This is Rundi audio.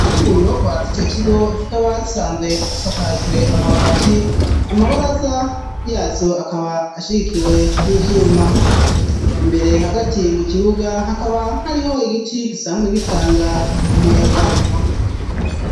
Kenshi mu nyubakwa z'ico kigo, zikaba zisanzwe zisakajwe amabati, amabaraza yazo akaba ashigikiwe n'ivyuma. Imbere hagati mu kibuga, hakaba hariho igiti gisanzwe gitanga umuyaga.